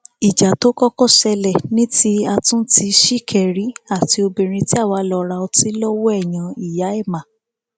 ìjà tó kọkọ ṣẹlẹ ní ti àtúntì ṣìkẹrì àti obìnrin tí àwa lọọ ra ọtí lọwọ ẹ yẹn ìyá ẹmà